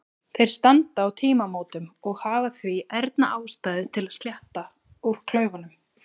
Þeir standa á tímamótum og hafa því ærna ástæðu til að sletta úr klaufunum.